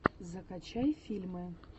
закачай фильмы